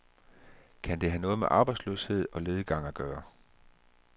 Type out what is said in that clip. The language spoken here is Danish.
Kan det have noget med arbejdsløshed og lediggang at gøre.